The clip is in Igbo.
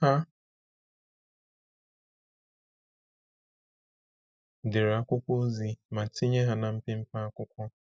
Ha dere akwụkwọ ozi ma tinye ha na mpempe akwụkwọ.